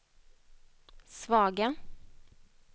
svaga